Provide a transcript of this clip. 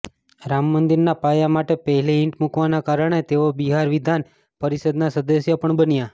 રામ મંદિરના પાયા માટે પહેલી ઈંટ મુકવાના કારણે તેઓ બિહાર વિધાન પરિષદના સદસ્ય પણ બન્યા